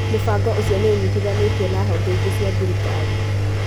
Mũbango ũcio nĩ ũnyitithanĩtio na honge ingĩ cia thirikari.